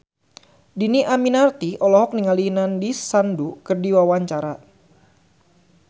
Dhini Aminarti olohok ningali Nandish Sandhu keur diwawancara